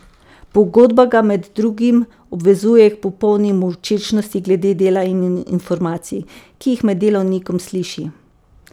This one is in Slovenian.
Pogodba ga med drugim obvezuje k popolni molčečnosti glede dela in informacij, ki jih med delovnikom sliši.